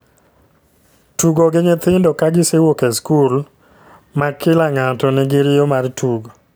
Tugo gi nyithindo ka gisewuok e skul. Ma kila ngato ni gi riyo mar tugo